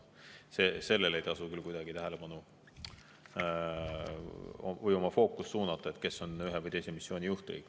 Sellele ei tasu küll kuidagi tähelepanu või oma fookust suunata, et kes on ühe või teise missiooni juhtriik.